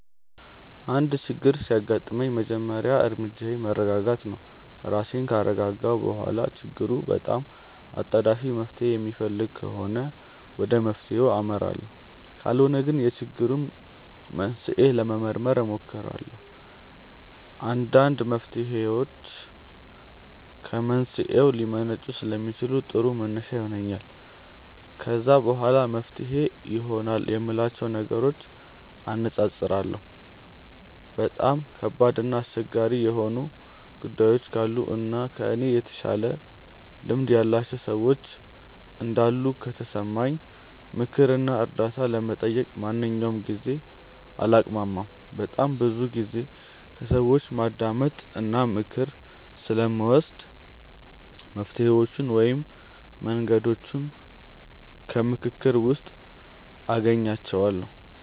አንድ ችግር ሲያጋጥመኝ የመጀመሪያ እርምጃዬ መረጋጋት ነው። ራሴን ካረጋጋሁ በኋላ ችግሩ በጣም አጣዳፊ መፍትሔ የሚፈልግ ከሆነ ወደ መፍትሔው አመራለሁ ካልሆነ ግን የችግሩን መንስኤ ለመመርመር እሞክራለሁ። አንዳንድ መፍትሔዎች ከመንስኤው ሊመነጩ ስለሚችሉ ጥሩ መነሻ ይሆነኛል። ከዛ በኋላ መፍትሄ ይሆናሉ የምላቸውን ነገሮች አነፃፅራለሁ። በጣም ከባድ እና አስቸጋሪ የሆኑ ጉዳዮች ካሉ እና ከእኔ የተሻለ ልምድ ያላቸው ሰዎች እንዳሉ ከተሰማኝ ምክር እና እርዳታ ለመጠየቅ በማንኛውም ጊዜ አላቅማማም። በጣም ብዙ ጊዜ ከሰዎች ማዳመጥ እና ምክር ስለምወድ መፍትሔዎቹን ወይም መንገዶቹን ከምክክር ውስጥ አገኛቸዋለሁ።